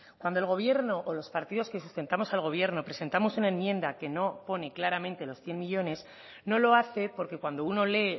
cuando el gobierno o los partidos que sustentamos al gobierno presentamos una enmienda que no pone claramente los cien millónes no lo hace porque cuando uno lee